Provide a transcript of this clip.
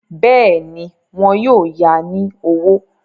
Bẹ́ẹ̀ni, wọn yóò ya ní owó.